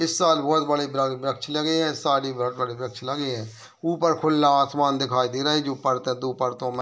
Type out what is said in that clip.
इस साल बहोत बड़े-बड़े वृक्ष लगे हैं इस साल ही बड़े-बड़े वृक्ष लगे हैं ऊपर खुल्ला आसमान दिखाई दे रहे है जो परतों दो परतों में --